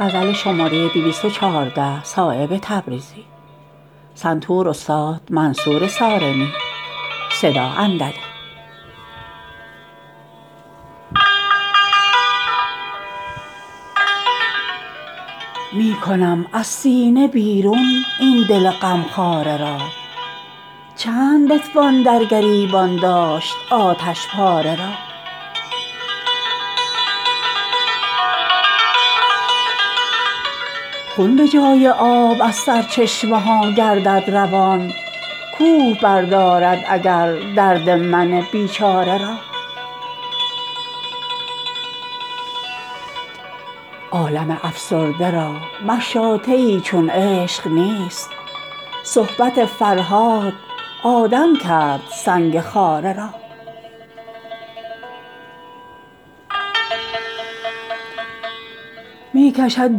می کنم از سینه بیرون این دل غمخواره را چند بتوان در گریبان داشت آتشپاره را خون به جای آب از سرچشمه ها گردد روان کوه بردارد اگر درد من بیچاره را عالم افسرده را مشاطه ای چون عشق نیست صحبت فرهاد آدم کرد سنگ خاره را می کشد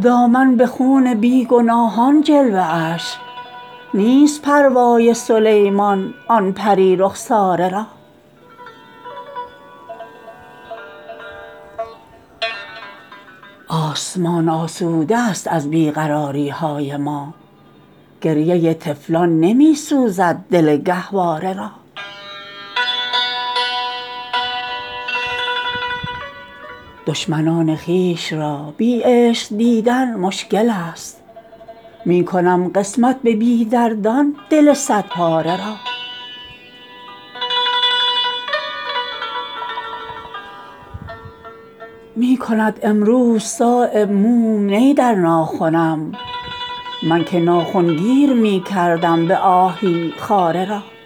دامن به خون بی گناهان جلوه اش نیست پروای سلیمان آن پری رخساره را آسمان آسوده است از بی قراری های ما گریه طفلان نمی سوزد دل گهواره را دشمنان خویش را بی عشق دیدن مشکل است می کنم قسمت به بی دردان دل صد پاره را می کند امروز صایب موم نی در ناخنم من که ناخن گیر می کردم به آهی خاره را